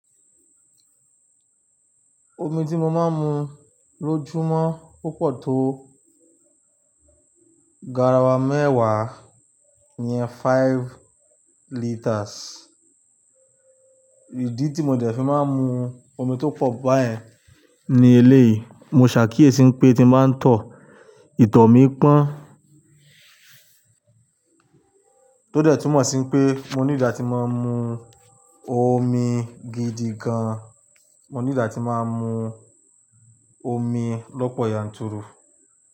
Omi tí mo máa ń mu lójúmọ́ ó pọ̀ tó garawa mẹ́wàá ní iyẹn faifu litres. Ìdí tí mo dẹ̀ fi máa ń mu omi tó pọ̀ báyìí ní eléyìí, mo ṣàkíyèsí pé tí mo bá ń tọ ìtọ̀ mí pọ́n, ó dẹ̀ túmọ̀ sí pé mo ní di tí màá ń mu omi gidi gan. Mo ní di a tí màá ń mu omi lọ́pọ̀ yanturu.